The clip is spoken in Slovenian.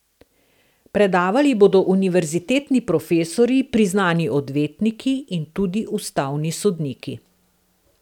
Predavali bodo univerzitetni profesorji, priznani odvetniki in tudi ustavni sodniki.